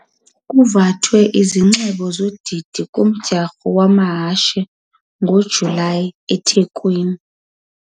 kuvathwe izinxibo zodidi kumdyarho wamahashe ngoJulayi eThekwini.